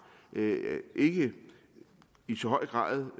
ikke i så høj grad